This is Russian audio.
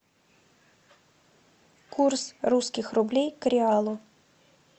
курс русских рублей к реалу